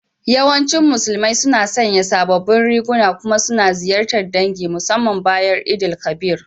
Yawancin Musulmai suna sanya sabobin riguna kuma suna ziyartar ɗangi musamman bayan sallar Eid_el Kabir.